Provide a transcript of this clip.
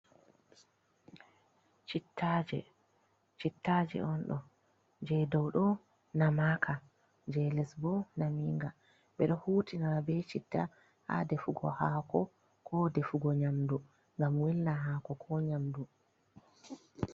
Chittaaje on ɗo, jee dow ɗo namaaka, jee les bo naminga. Ɓe ɗo hutinira bee chitta haa defugo haako, ko defugo nyamdu ngam welna haako ko nyamdu.